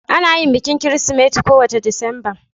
Ana yin bikin Kirsimeti kowace Disamba.